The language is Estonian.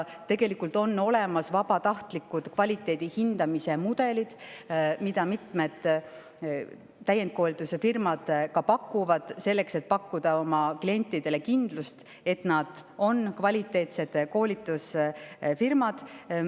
Tegelikult on olemas vabatahtliku kvaliteedihindamise mudelid, mida pakuvad mitmed täiendkoolitusfirmad selleks, et pakkuda oma klientidele kindlust, et nad on kvaliteetsed koolitusfirmad.